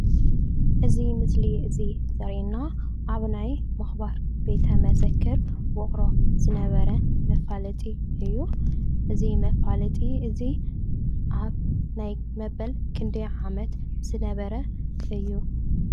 እዚ ምስሊ እዚ ዘርእየና ኣብ ናይ ምክባር ቤተ መዘክር ውቅሮ ዝነበረ መፋለጢ እዩ። እዚ መፋለጢ እዚ ኣብ መበል ክንደይ ዓመት ዝነበረ እዩ?